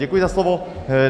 Děkuji za slovo.